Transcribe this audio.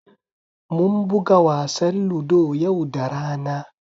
Mun buga wasan Ludo yau da rana.